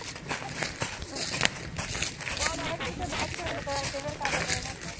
ਆਹ . ਹੋਰ ਬਸ ਫਿਰ ਦਸ ਮਿੰਟ ਹੋਏ ਤੇ ਮੈਂ ਫਿਰ ਕੱਟ ਦੇਣਾ।